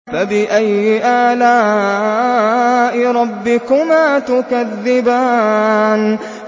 فَبِأَيِّ آلَاءِ رَبِّكُمَا تُكَذِّبَانِ